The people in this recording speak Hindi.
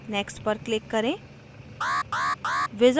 next पर click करें